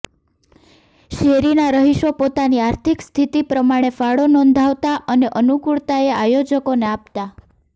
શેરીના રહીશો પોતાની આર્થિક સ્થિતિ પ્રમાણે ફાળો નોંધાવતા અને અનુકૂળતાએ આયોજકોને આપતા